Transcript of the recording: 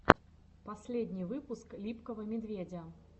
последний выпуск липкого медведя